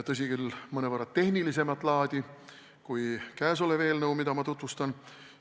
Tõsi küll, need olid mõnevõrra tehnilisemat laadi vajadused kui käesoleva eelnõu omad, mida ma kohe tutvustan.